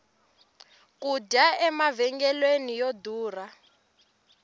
ku dya emavhengeleni yo durha